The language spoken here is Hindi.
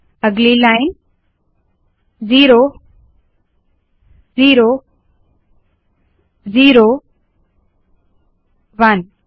अगली लाइन ज़िरो ज़िरो ज़िरो ह्वन